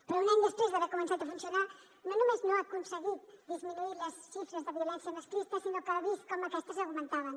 però un any després d’haver començat a funcionar no només no ha aconseguit disminuir les xifres de violència masclista sinó que ha vist com aquestes augmentaven